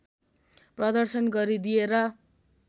प्रदर्शन गरिदिए र